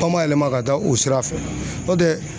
Panba yɛlɛma ka taa o sira fɛ n'o tɛ